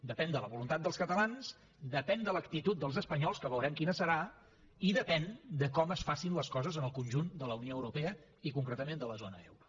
depèn de la voluntat dels catalans depèn de l’actitud dels espanyols que veurem quina serà i depèn de com es facin les coses en el conjunt de la unió europea i concretament de la zona euro